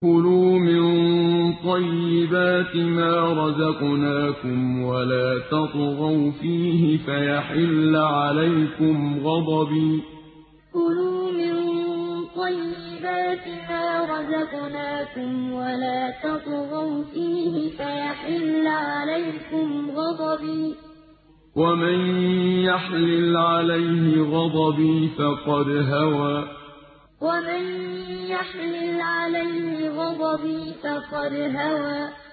كُلُوا مِن طَيِّبَاتِ مَا رَزَقْنَاكُمْ وَلَا تَطْغَوْا فِيهِ فَيَحِلَّ عَلَيْكُمْ غَضَبِي ۖ وَمَن يَحْلِلْ عَلَيْهِ غَضَبِي فَقَدْ هَوَىٰ كُلُوا مِن طَيِّبَاتِ مَا رَزَقْنَاكُمْ وَلَا تَطْغَوْا فِيهِ فَيَحِلَّ عَلَيْكُمْ غَضَبِي ۖ وَمَن يَحْلِلْ عَلَيْهِ غَضَبِي فَقَدْ هَوَىٰ